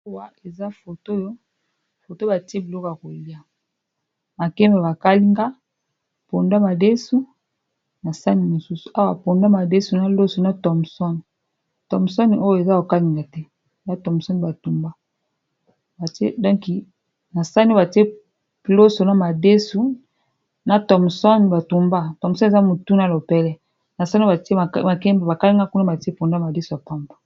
Awa eza foto foto batie biloko ya koliya makemba bakalinga, pondu ya madesu na sane mususu awa pondu ya madesu na loso na thomson. thomson Oyo eza ya kokalinga te oyo thomson batumba donki na sahani oyo batiye loso na madesu na Thomson batumba thomson eza mutu na lopele na sahani mususu batiye pondu na madesu ya pamba.